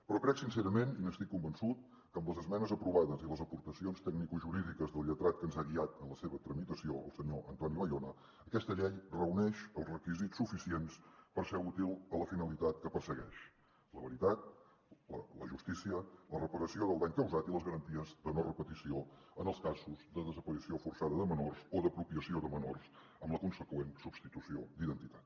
però crec sincerament i n’estic convençut que amb les esmenes aprovades i les aportacions tecnicojurídiques del lletrat que ens ha guiat en la seva tramitació el senyor antoni bayona aquesta llei reuneix els requisits suficients per ser útil a la finalitat que persegueix la veritat la justícia la reparació del dany causat i les garanties de no repetició en els casos de desaparició forçada de menors o d’apropiació de menors amb la conseqüent substitució d’identitat